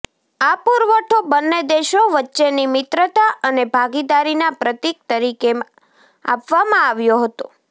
આ પુરવઠો બંને દેશો વચ્ચેની મિત્રતા અને ભાગીદારીના પ્રતીક તરીકે આપવામાં આવ્યો હતો